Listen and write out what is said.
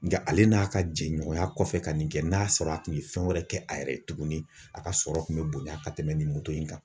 Nga ale n'a ka jɛɲɔgɔnya kɔfɛ ka nin kɛ n'a sɔrɔ a tun ye fɛn wɛrɛ kɛ a yɛrɛ ye tuguni a ka sɔrɔ kun bɛ bonya ka tɛmɛ nin moto in kan.